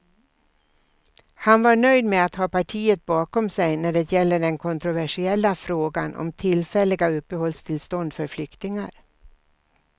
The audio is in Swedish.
Han var nöjd med att ha partiet bakom sig när det gäller den kontroversiella frågan om tillfälliga uppehållstillstånd för flyktingar.